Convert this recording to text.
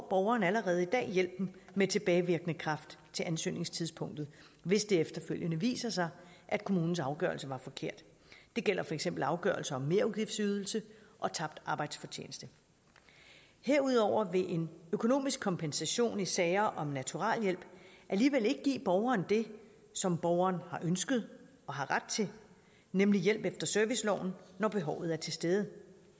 borgeren allerede i dag hjælpen med tilbagevirkende kraft til ansøgningstidspunktet hvis det efterfølgende viser sig at kommunens afgørelse var forkert det gælder for eksempel afgørelser om merudgiftsydelse og tabt arbejdsfortjeneste herudover vil en økonomisk kompensation i sager om naturaliehjælp alligevel ikke give borgeren det som borgeren har ønsket og har ret til nemlig hjælp efter serviceloven når behovet er til stede